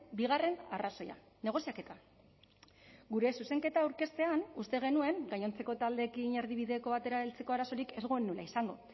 bigarren arrazoia negoziaketa gure zuzenketa aurkeztean uste genuen gainontzeko taldeekin erdibideko batera heltzeko arazorik ez genuela izango